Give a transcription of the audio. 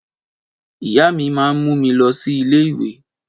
Ìyá mi máa mú mi lọ sí ilé ìwé.